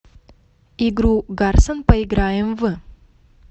игру гарсон поиграем в